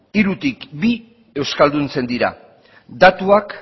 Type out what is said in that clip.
hirutik bi euskalduntzen dira datuak